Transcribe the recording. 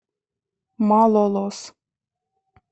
малолос